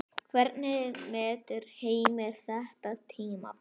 Hvernig metur Heimir þetta tímabil?